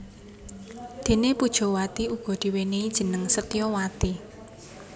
Déné Pujawati uga diwènèhi jeneng Setyawati